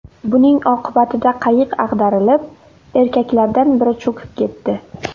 Buning oqibatida qayiq ag‘darilib, erkaklardan biri cho‘kib ketdi.